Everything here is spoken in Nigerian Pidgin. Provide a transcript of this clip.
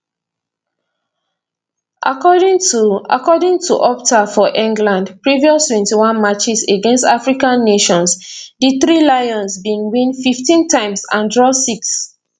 according to according to opta for england previous 21 matches against african nations di three lions bin win 15 times and draw six